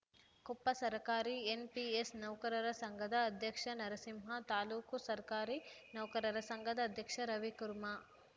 ಕೊಪ್ಪ ಸರಕಾರಿ ಎನ್‌ಪಿಎಸ್‌ ನೌಕರರ ಸಂಘದ ಅಧ್ಯಕ್ಷ ನರಸಿಂಹ ತಾಲೂಕು ಸರ್ಕಾರಿ ನೌಕರರ ಸಂಘದ ಅಧ್ಯಕ್ಷ ರವಿಕುರ್ಮಾ